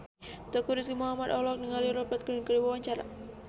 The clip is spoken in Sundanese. Teuku Rizky Muhammad olohok ningali Rupert Grin keur diwawancara